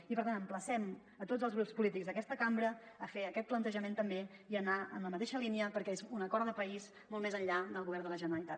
i per tant emplacem a tots els grups polítics d’aquesta cambra a fer aquest plantejament també i a anar en la mateixa línia perquè és un acord de país molt més enllà del govern de la gene·ralitat